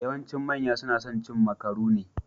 Yawancin manya ne suke son cin makarune.